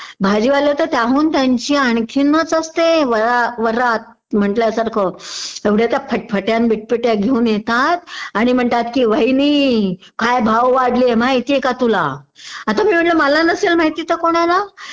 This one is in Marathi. भाजीवाला तर त्याहून त्यांची आणखीनच असते वरा वरात म्हणाल्यासारखं.एवढ्या त्या फटफट्या न बिटफट्या घेऊन येतात आणि म्हणतात कि वहिनी काय भाव वाढले माहिती का तुला आता मी म्हणते मला नसेल माहिती तर कुणाला